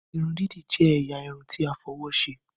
Irun didi jẹ ẹ̀yà Irun ti a fí òwò ṣe.